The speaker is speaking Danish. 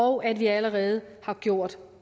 og at vi allerede har gjort